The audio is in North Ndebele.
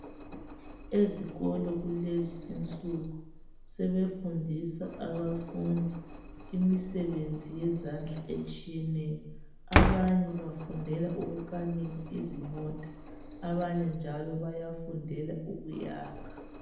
Ezikolo kulezinsuku sebefundisa abafundi imisebenzi yezandla etshiyeneyo abanye bafundela ukukanika izimota abanye njalo bayafundela ukuyakha.